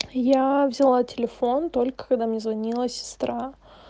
я взяла телефон только когда мне звонила сестра